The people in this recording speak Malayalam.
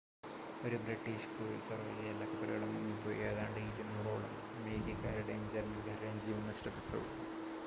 ഒരു ബ്രിട്ടീഷ് ക്രൂയിസർ ഒഴികെ എല്ലാ കപ്പലുകളും മുങ്ങിപ്പോയി ഏതാണ്ട് 200 ഓളം അമേരിക്കക്കാരുടെയും ജർമ്മൻകാരുടെയും ജീവൻ നഷ്ടപ്പെട്ടു